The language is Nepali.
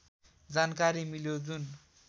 जानकारी मिल्यो जुन